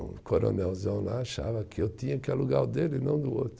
Um coronelzão lá achava que eu tinha que alugar o dele e não o do outro.